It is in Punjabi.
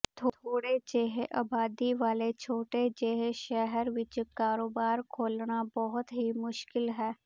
ਥੋੜ੍ਹੇ ਜਿਹੇ ਆਬਾਦੀ ਵਾਲੇ ਛੋਟੇ ਜਿਹੇ ਸ਼ਹਿਰ ਵਿਚ ਕਾਰੋਬਾਰ ਖੋਲ੍ਹਣਾ ਬਹੁਤ ਮੁਸ਼ਕਿਲ ਹੈ